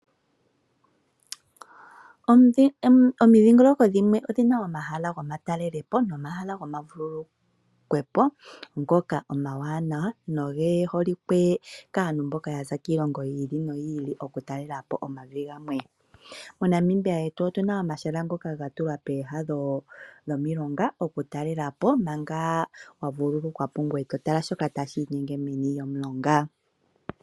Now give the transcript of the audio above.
Omindhingololoko dhimwe odhina omahala gomatalelepo nomahala gokuvululukwa po, ngoka omwaanawa noge holike kaantu mboka yaza kiilongo yi ili noyili oku talela po omavi gamwe. MoNamibia yetu otuna omahala ngono ga tulwa peeha dhomilonga oku talelapo, manga wa vululukwa po ngweye totala shoka tashiinyenge meni lyomulonga.